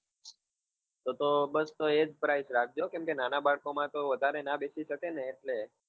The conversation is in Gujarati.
તો તો બસ તો એ જ price રાખજો કેમ કે નાના બાળકો માં તો વધારે ના બેસી શકે ને એટલે.